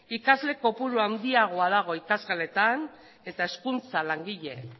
ikasle kopuru handiagoa dago ikasgeletan eta hezkuntza langile